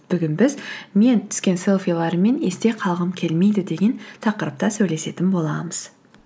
бүгін біз мен түскен селфилеріммен есте қалғым келмейді деген тақырыпта сөйлесетін боламыз